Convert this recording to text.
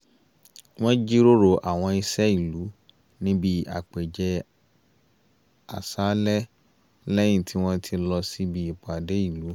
wọ́n jíròrò àwọn iṣẹ́ ìlú níbi ápèjẹ-àṣálẹ́ lẹ́yìn tí wọ́n ti lọ síbi ìpàdé ìlú